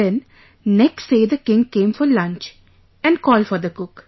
Then next day the king came for lunch and called for the cook